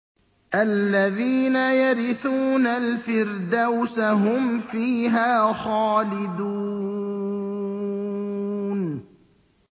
الَّذِينَ يَرِثُونَ الْفِرْدَوْسَ هُمْ فِيهَا خَالِدُونَ